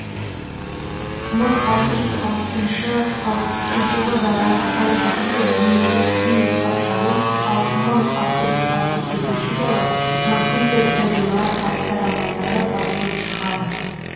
мың алты жүз алпысыншы алпыс үшінші жылдары альмахида немесе күң патшайым ал мың алты жүз алпыс жетінші жылы матильда д агилар атты романдары басылып шығады